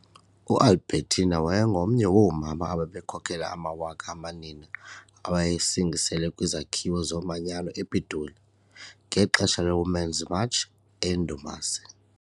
U- Albertina wabangomye woomama ababekhokele amawaka amanina awayesingisele kwiZakhiwo Zomanyano ePitoli, ngexesha le-Women's March eyindumasi.